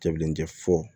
Cɛbilen tɛ fo